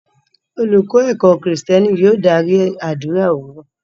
Olùkọ́ ẹ̀kọ́-Kristẹni yóò dárí àdúrà òwúrọ̀.